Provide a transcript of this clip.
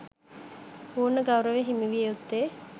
පූර්ණ ගෞරවය හිමි විය යුත්තේ